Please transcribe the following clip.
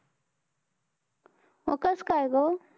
अं कसकाय गं?